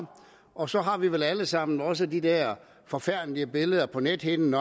og så har vi vel alle sammen også de der forfærdelige billeder på nethinden